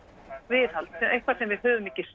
viðhald eitthvað sem við höfum ekki